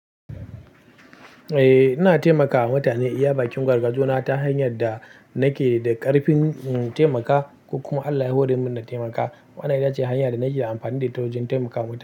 Eh, ina taimakawa mutane iya bakin gwargwajo na ta hanyar da nake da ƙarfin in taimaka. Ko kuma Allah ya hori mun na taimakawa. Wannan ita ce hanya da nake amfani da ta wajen taimakawa mutane.